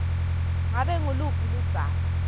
ngabe nguluphi ludzaba